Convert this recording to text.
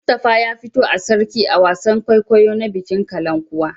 Mustapha ya fito a Sarki a wasan kwaikwayo na bikin Kalankuwa.